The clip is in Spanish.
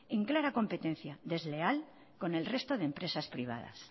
en clara competencia desleal con el resto de empresas privadas